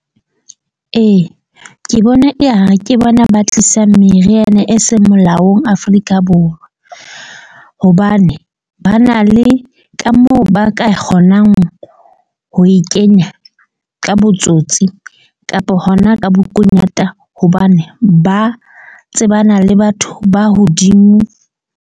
Ee, ke bona ya ke bona ba tlisang meriana e seng molaong Afrika Borwa. Hobane ba na le ka moo ba ka kgonang ho e kenya ka botsotsi kapa hona ka bokunyata. Hobane ba tsebana le batho ba hodimo.